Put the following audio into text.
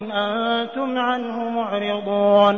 أَنتُمْ عَنْهُ مُعْرِضُونَ